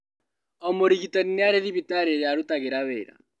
O mũrigitani nĩarĩ na thibitarĩ irĩa arutagĩra wĩra